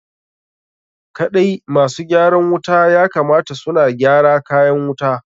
Kaɗai ma su gyaran wuta ya kamata su na gyara kayan wuta.